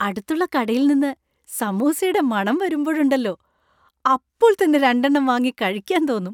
അടുത്തുള്ള കടയിൽ നിന്ന് സമൂസയുടെ മണം വരുമ്പോഴുണ്ടല്ലോ, അപ്പോൾ തന്നെ രണ്ടെണ്ണം വാങ്ങി കഴിക്കാൻ തോന്നും.